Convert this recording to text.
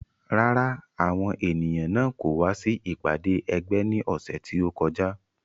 Rárá, àwọn ènìyàn náà kò wá sí ìpàdé ẹgbẹ́ ní ọ̀sẹ̀ tí ó kọjá